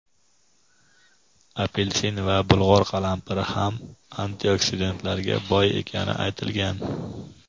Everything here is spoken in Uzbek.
apelsin va bulg‘or qalampiri ham antioksidantlarga boy ekani aytilgan.